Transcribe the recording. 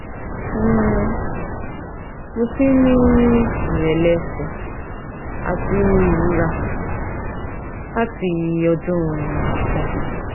um mo ti ní ìrẹ́lẹ̀ ẹ̀sẹ̀ àti ìrora láti odun ogbon